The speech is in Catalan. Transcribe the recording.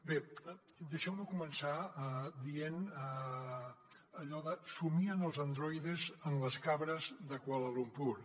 bé deixeu me començar dient allò de somien els androides amb les cabres de kuala lumpur